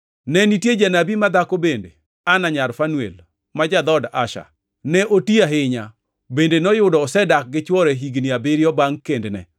Ne nitie janabi madhako bende, Ana, nyar Fanuel ma ja-dhood Asher. Ne oti ahinya; bende noyudo osedak gi chwore higni abiriyo bangʼ kendne,